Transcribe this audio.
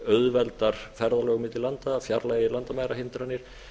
auðveldar ferðalög milli landa fjarlægir landamærahindranir